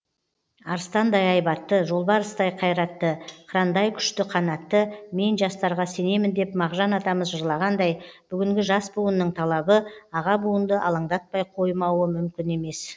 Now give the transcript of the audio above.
арыстандай айбатты жолбарыстай қайратты қырандай күшті қанатты мен жастарға сенемін деп мағжан атамыз жырлағандай бүгінгі жас буынның талабы аға буынды алаңдатпай қоймауы мүмкін емес